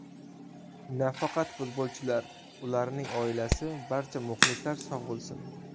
Nafaqat futbolchilar, ularning oilasi, barcha muxlislar sog‘ bo‘lsin.